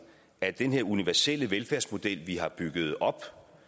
at den her universelle velfærdsmodel vi har bygget op